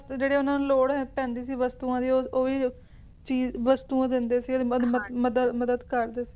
ਤੇ ਜਿਹੜੀ ਉਨ੍ਹਾਂ ਨੂੰ ਲੋੜ ਪੈਂਦੀ ਸੀ ਵਸਤੂਆਂ ਦੀ ਉਹ ਵੀ ਉਹ ਜੀ ਵਸਤੂਆਂ ਦਿੰਦੇ ਸੀ ਮਦਦ ਮਦਦ ਕਰਦੇ ਸੀਗੇ